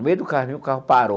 No meio do caminho, o carro parou.